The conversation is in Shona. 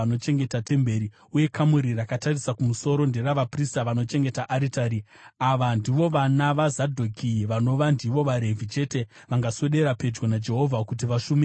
Uye kamuri rakatarisa kumusoro nderavaprista vanochengeta aritari. Ava ndivo vana vaZadhoki, vanova ndivo vaRevhi chete vangaswedera pedyo naJehovha kuti vashumire pamberi pake.”